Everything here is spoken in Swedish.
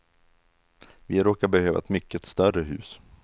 Vi råkar behöva ett mycket större hus.